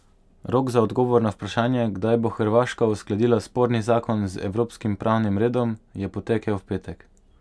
Rok za odgovor na vprašanje, kdaj bo Hrvaška uskladila sporni zakon z evropskim pravnim redom, je potekel v petek.